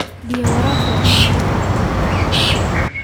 Biyaha waraabku waa inay nadiif ahaadaan.